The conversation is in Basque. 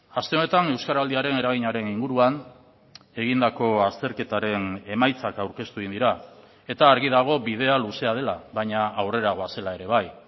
aste honetan euskaraldiaren eraginaren inguruan egindako azterketaren emaitzak aurkeztu egin dira eta argi dago bidea luzea dela baina aurrera goazela ere bai